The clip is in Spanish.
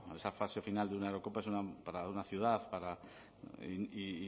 esa fase final de una eurocopa para una ciudad y